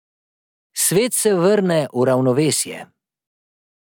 Svet se vrne v ravnovesje.